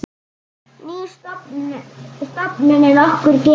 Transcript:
Ný stofnun er okkur gefin.